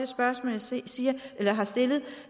spørgsmål jeg har stillet